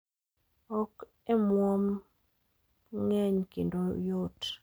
Ok e omuom mg'eny kendo oyot